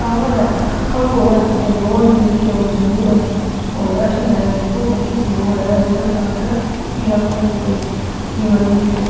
टॉवर है खम्भों है और रोड गएडी है और धूल है और अठने है जिको बड़ी सी रोड है रोड के आगे पीला कलर की कोई की मांडेडी है।